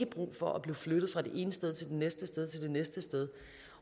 brug for at blive flyttet fra det ene sted til det næste sted og til det næste sted